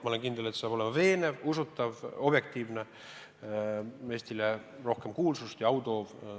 Ma olen kindel, et see saab olema veenev, usutav, objektiivne, Eestile rohkem kuulsust ja au toov.